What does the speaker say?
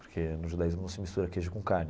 Porque no judaísmo não se mistura queijo com carne.